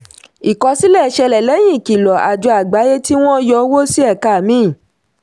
ìkosílẹ̀ ṣẹlẹ̀ lẹ́yìn ìkìlọ̀ àjọ àgbáyé tí wọ́n yọ owó sí ẹ̀ka míì.